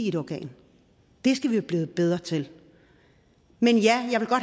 et organ det skal vi blive bedre til men ja